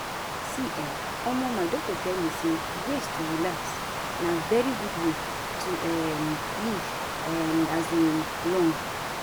see[um]omo my doc tell me say ways to relax na very good way to um live um long.